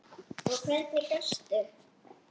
Og hvernig gastu.?